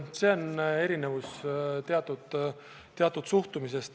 Selline erinevus on teatud suhtumises.